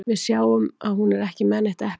Við hin sjáum að hún er ekki með neitt epli.